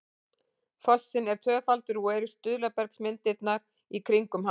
fossinn er tvöfaldur og eru stuðlabergsmyndanir í kringum hann